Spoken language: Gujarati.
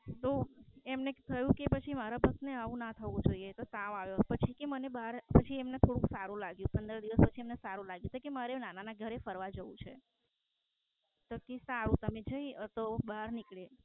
તો એમને થયું કે મારા ભક્ત ને આવું ના થવું જોઈએ તો તાવ આવ્યો પછી એમને થોડું સારું લાગ્યું. તો કે મારે હવે નાના ના ઘરે ફરવા જવું છે તો બહાર નીકળે